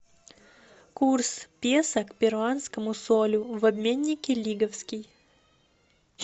курс песо к перуанскому солю в обменнике лиговский